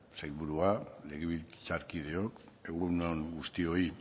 sailburua legebiltzarkideok egun on guztioi